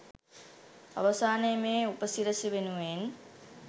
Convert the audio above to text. අවසානයේ මේ උපසිරැසිවෙනුවෙන්